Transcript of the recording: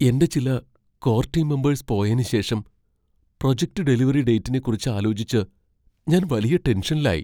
എന്റെ ചില core team members പോയേന് ശേഷം പ്രൊജക്റ്റ് ഡെലിവറി ഡേറ്റിനെക്കുറിച്ച് ആലോചിച്ച് ഞാൻ വലിയ ടെൻഷനിലായി.